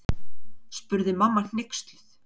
spurði mamma hneyksluð.